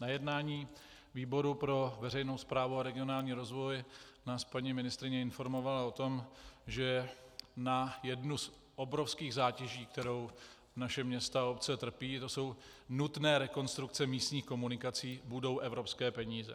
Na jednání výboru pro veřejnou správu a regionální rozvoj nás paní ministryně informovala o tom, že na jednu z obrovských zátěží, kterou naše města a obce trpí, to jsou nutné rekonstrukce místních komunikací, budou evropské peníze.